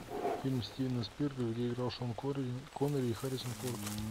фильм стивена спилберга где играл шон коннери и харрисон форд